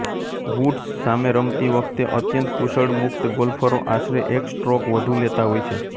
woods સામે રમતી વખતે અત્યંત કુશળ મુક્ત ગોલ્ફરો આશરે એક સ્ટ્રૉક વધુ લેતા હોય છે